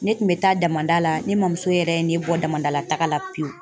Ne tun bɛ taa damada la ne mamuso yɛrɛ ne bɔ damada la taga la pewu